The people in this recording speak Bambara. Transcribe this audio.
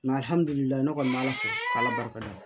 ne kɔni bɛ ala fo k'ala barika da